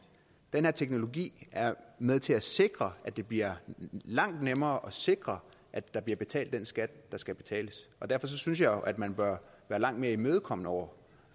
den her teknologi er med til at sikre at det bliver langt nemmere at sikre at der bliver betalt den skat der skal betales og derfor synes jeg jo at man bør være langt mere imødekommende over